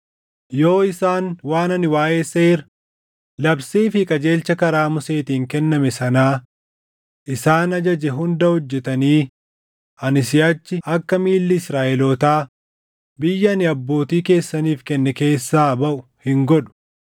Yoo isaan waan ani waaʼee seera, labsii fi qajeelcha karaa Museetiin kenname sanaa isaan ajaje hunda hojjetanii ani siʼachi akka miilli Israaʼelootaa biyya ani abbootii keessaniif kenne keessaa baʼu hin godhu.”